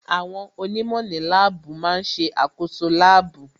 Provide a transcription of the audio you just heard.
Àwọn onímọ̀ ní láàbù má ń ṣe àkoso láàbù